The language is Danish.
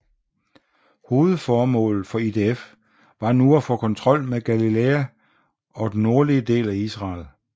Hovedmålet for IDF var nu at få kontrol med Galilæa og den nordlige del af Israel